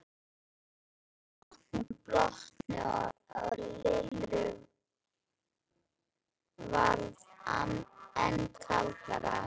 Allir í bátnum blotnuðu og Lillu varð enn kaldara.